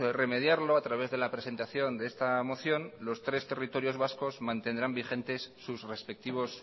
remediarlo a través de la presentación de esta moción los tres territorios vascas mantendrán vigentes sus respectivos